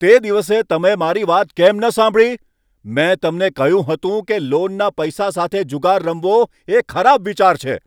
તે દિવસે તમે મારી વાત કેમ ન સાંભળી? મેં તમને કહ્યું હતું કે લોનના પૈસા સાથે જુગાર રમવો એ ખરાબ વિચાર છે.